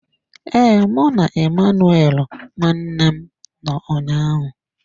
Ee, mụ na Emmanuel nwanne m nọ ụnyaahụ.